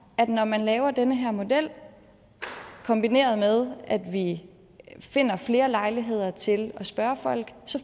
at når man laver den her model kombineret med at vi finder flere lejligheder til at spørge folk